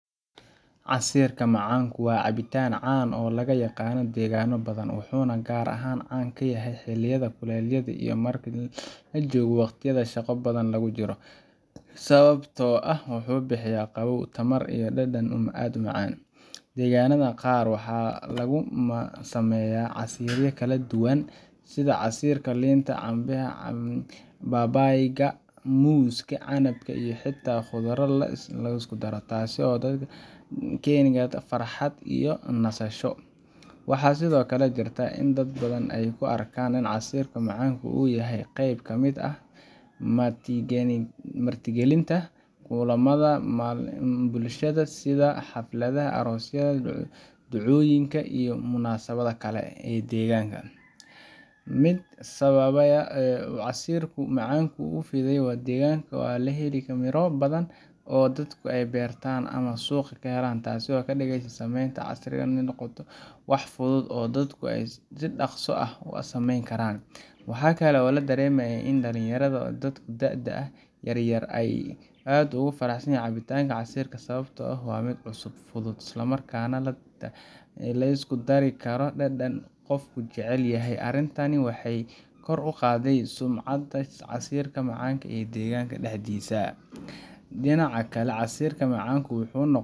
Casiirka macaanku waa cabitaan can oo lagaaqano deegano badan. Wuxuna gaar ahaan caan ku yahy xiliyada kuleel yada iyo marki lajoogo waqtiyada shaqo badan lagujiro sawabtoo ah wuxu bixiya qawoow tamar iyo dadan aad umacaan . Deeganada qaar waxa lagusameyaa casiiriya kaladuwan sida casiirka liinta, canbaxa, babayga, muuska, canabka iyo xita qudura liskudaro taasi oo keni karta farxad iyo nasasho. Waxaa sidoo kale jirta in dad badan ey kuarkaan casiirka macaanku uu yahy qeyb kamid ah marti galinta kulamada bulshada sida xafladaha aroosyada, ducooyinka iyo munaasabada Kal e eh ee degaanka. Mid sababeeya casiirku macaanku ufidiye wa degaanka oo laheli Miro badan oo dadku ey beertaan oo suqa kenaan taasi o kadigeysa sameynta casiirka in ee noqoto wax fudud oo dadku so daqsi ah usameyn karaan. Waxa kale oo ladaremayaa dalin yarada oo dadka daada yaryar aad ugu faraxsanyahan cabitaanka casiirka sawabtoo ah wa mid cusub fudud Isla marka neh lisku dari karo dadan qofka jecelyahy . Arintani wexey kor uqaadey sumcada macaanka ee degaanka daxdiisa. Dinaca kale casiirka macaanku noqo..